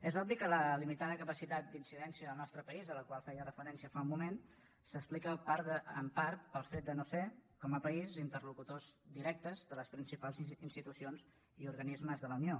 és obvi que la limitada capacitat d’incidència en el nostre país a la qual feia referència fa un moment s’explica en part pel fet de no ser com a país interlocutors directes de les principals institucions i organismes de la unió